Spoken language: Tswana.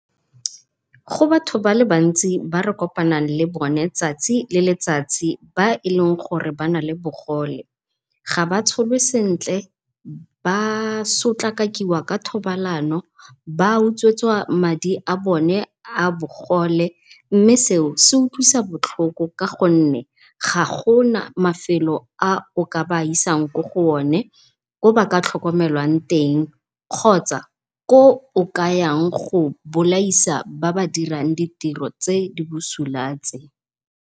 Go batho bale bantsi ba re kopanang le bone tsatsi le letsatsi, ba eleng gore bana le bogole. Ga ba tsholwe sentle ba sotlakakiwa ka thobalano, ba utswetswa madi a bone a bogole, mme seo se utlwisa botlhoko ka gonne ga gona mafelo a o ka ba isang kwa go one, ko ba ka tlhokomelwang teng kgotsa ko o kayang go bolaisa ba ba dirang ditiro tse di busula tse.